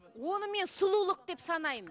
оны мен сұлулық деп санаймын